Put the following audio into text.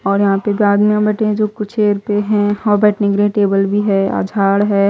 और यहां पे भी आदमी बैठे हैं जो कुचेर पे हैं और बैठने के लिए टेबल भी है झाड़ है।